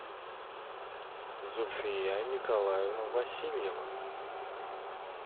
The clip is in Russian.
зульфия николаевна васильева